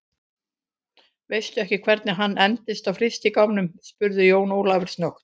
Veistu ekkert hvernig hann endaði á frystigámnum, spurði Jón Ólafur snöggt.